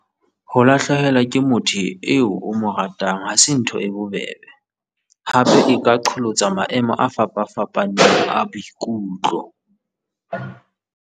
Ho lahlehelwa ke motho eo o mo ratang ha se ntho e bobebe, hape e ka qholotsa maemo a fapafapaneng a boikutlo.